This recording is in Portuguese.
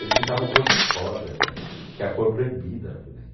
Eles pintavam cor de rosa, que é que é a cor proibida na FEBEM.